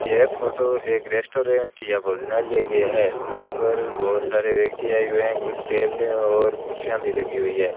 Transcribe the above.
यह फोटो एक रेस्टोरेंट या भोजनालय की है जहां पर बहोत सारे व्यक्ति आए हुए हैं कुछ टेबले और कुर्सियां भी लगी हुई है।